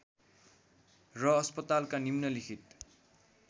र अस्पतालका निम्नलिखित